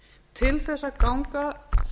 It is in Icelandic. til þess að ganga